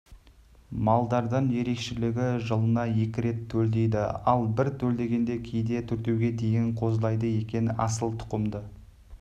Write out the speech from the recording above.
малдардан ерекшелігі жылына екі рет төлдейді ал бір төлдегенде кейде төртеуге дейін қозылайды екен асылтұқымды